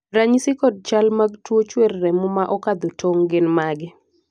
ranyisi kod chal mag tuo chuer remo ma okadho tong' gin mage?